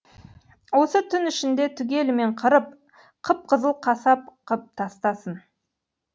осы түн ішінде түгелімен қырып қып қызыл қасап қып тастасын